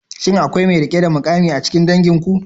Shin akwai mai rike da mukami a cikin danginku?